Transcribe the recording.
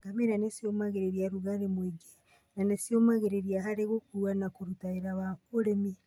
Ngamĩra nĩ cĩũmagĩrĩria rũgarĩ mwĩngĩ na nĩ cĩtũmĩragwo harĩ gũkũa na kũruta wĩra wa ũrĩmi.